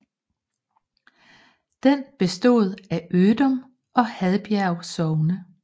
Den bestod af Ødum og Hadbjerg Sogne